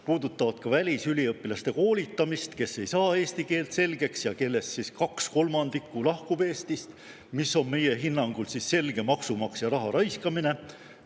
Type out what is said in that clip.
Puudutavad ka välisüliõpilaste koolitamist, kes ei saa eesti keelt selgeks ja kellest kaks kolmandikku lahkub Eestist, mis on meie hinnangul selge maksumaksja raha raiskamine.